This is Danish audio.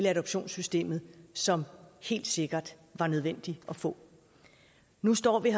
adoptionssystemet som helt sikkert var nødvendig at få nu står vi